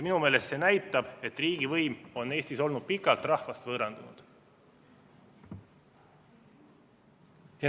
Minu meelest näitab see seda, et riigivõim on Eestis olnud pikalt rahvast võõrandunud.